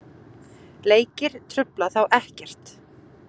Leikir trufla þá ekkert.